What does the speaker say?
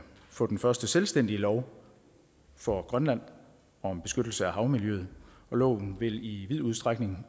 få den første selvstændige lov for grønland om beskyttelse af havmiljøet loven vil i vid udstrækning